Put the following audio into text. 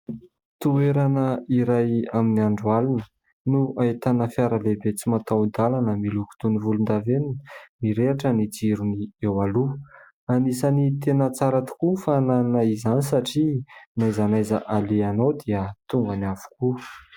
Toerana iray amin'ny andro alina no ahitana fiara lehibe tsy mataho-dalana miloko toy ny volondavenona. Mirehitra ny jirony eo aloha. Anisan'ny tena tsara tokoa fananana izany satria na aiza na aiza alehanao dia tongany avokoa.